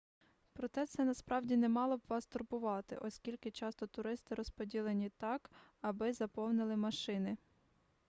проте це насправді не мало б вас турбувати оскільки часто туристи розподілені так аби заповнили машини